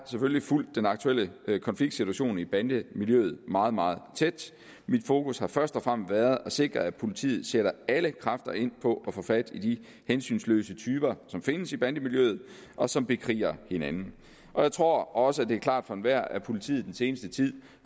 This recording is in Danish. selvfølgelig fulgt den aktuelle konfliktsituation i bandemiljøet meget meget tæt mit fokus har først og fremmest været at sikre at politiet sætter alle kræfter ind på at få fat i de hensynsløse typer som findes i bandemiljøet og som bekriger hinanden og jeg tror også at det er klart for enhver at politiet den seneste tid